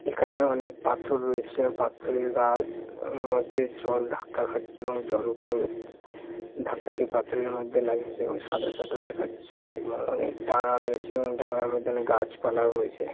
এখানে অনেক পাথর রয়েছে পাথরের গা-উ- মধ্যে জল ধাক্কা খাচ্ছে এবং জলগুলো-ও ধাক্কা খেয়ে পাথরের মধ্যে লাগছে এবং সাদা সাদা দেখাচ্ছে এবং অনেক দাঙ্গা রয়েছেএবং দাঙ্গার মধ্যে অনেক গাছপালা রয়েছে।